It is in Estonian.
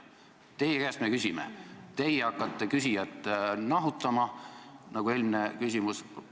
Teie käest me küsime, teie aga hakkate küsijat nahutama, nagu oli eelmise küsimuse puhul.